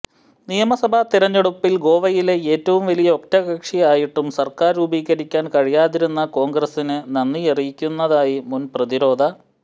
നിയമസഭാ തെരഞ്ഞെടുപ്പിൽ ഗോവയിലെ ഏറ്റവും വലിയ ഒറ്റകക്ഷിയായിട്ടും സർക്കാർ രൂപീകരിക്കാൻ കഴിയാതിരുന്ന കോൺഗ്രസിന് നന്ദി അറിയിക്കുന്നതായി മുൻ പ്രതിരോധ